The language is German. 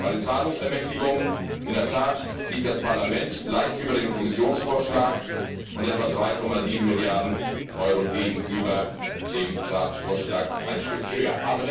Bei den Zahlungsermächtigungen liegt das Parlament in der Tat leicht über dem Kommissionsvorschlag, und mit etwa 3,7 Milliarden Euro gegenüber dem Ratsvorschlag ein Stück höher.